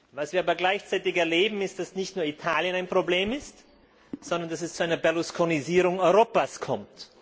Was wir aber gleichzeitig erleben, ist, dass nicht nur Italien ein Problem ist, sondern dass es zu einer Berlusconisierung Europas kommt.